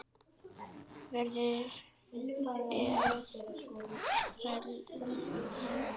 Verður að frelsa hann.